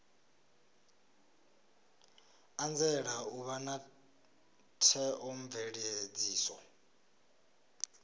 anzela u vha na theomveledziso